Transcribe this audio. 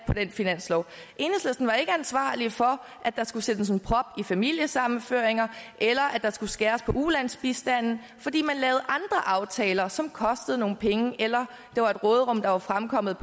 i en finanslov enhedslisten var ikke ansvarlig for at der skulle sættes en prop i for familiesammenføringer eller at der skulle skæres på ulandsbistanden fordi man lavede aftaler som kostede nogle penge eller der var fremkommet